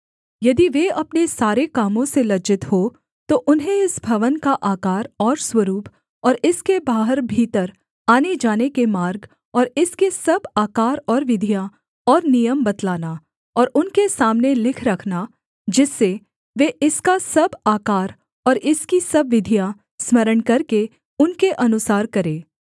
यदि वे अपने सारे कामों से लज्जित हों तो उन्हें इस भवन का आकार और स्वरूप और इसके बाहर भीतर आनेजाने के मार्ग और इसके सब आकार और विधियाँ और नियम बतलाना और उनके सामने लिख रखना जिससे वे इसका सब आकार और इसकी सब विधियाँ स्मरण करके उनके अनुसार करें